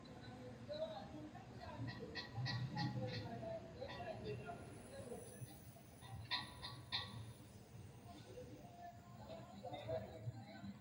Layinki misile la’ini gedensaanni misiletenni huwattinoonnire tittir- tine kulle Layinki misile la’ini gedensaanni misiletenni huwattinoonnire tittir- tine kulle Layinki misile.